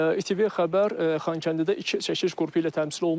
İTV xəbər Xankəndidə iki çəkiliş qrupu ilə təmsil olunur.